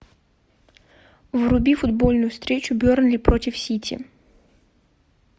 вруби футбольную встречу бернли против сити